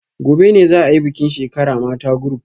Gobe ​​ne za a yi bikin shekara mata group